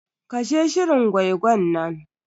Kashe shirin gwai-gwan nan.